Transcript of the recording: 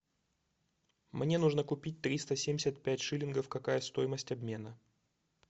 мне нужно купить триста семьдесят пять шиллингов какая стоимость обмена